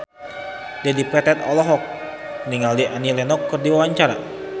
Dedi Petet olohok ningali Annie Lenox keur diwawancara